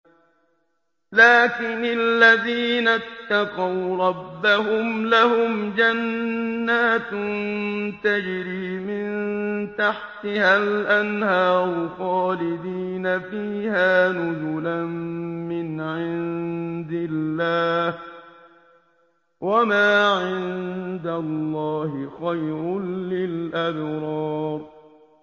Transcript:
لَٰكِنِ الَّذِينَ اتَّقَوْا رَبَّهُمْ لَهُمْ جَنَّاتٌ تَجْرِي مِن تَحْتِهَا الْأَنْهَارُ خَالِدِينَ فِيهَا نُزُلًا مِّنْ عِندِ اللَّهِ ۗ وَمَا عِندَ اللَّهِ خَيْرٌ لِّلْأَبْرَارِ